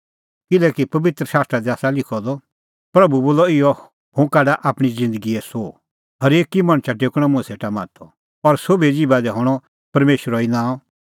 किल्हैकि पबित्र शास्त्रा दी आसा लिखअ द प्रभू बोला इहअ हुंह काढा आपणीं ज़िन्दगीए सोह हरेक मणछा टेकणअ मुंह सेटा माथअ और सोभिए ज़िभा दी हणअ परमेशरो ई नांअ